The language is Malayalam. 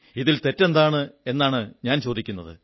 ഇതിൽ തെറ്റെന്താണെന്നാണു ഞാൻ ചോദിക്കുന്നത്